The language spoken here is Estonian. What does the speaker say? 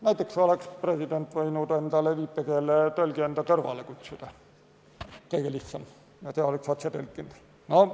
Näiteks oleks president võinud viipekeeletõlgi enda kõrvale kutsuda, kõige lihtsam, ja see oleks otse tõlkinud.